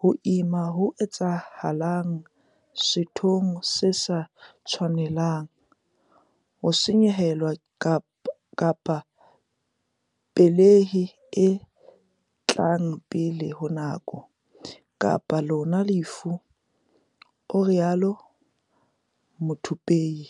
ho ima ho etsahalang sethong se sa tshwanelang, ho senyehelwa kapa pelehi e tlang pele ho nako, kapa le lona lefu," o rialo Muthupei.